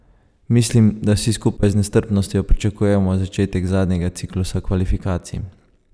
Mislim, da vsi skupaj z nestrpnostjo pričakujemo začetek zadnjega ciklusa kvalifikacij.